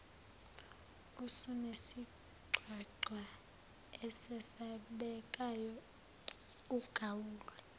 usunesigcwagcwa esesabekayo ugawule